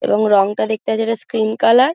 এবং রংটা দেখতে আছে এটা স্ক্রিন কালার ।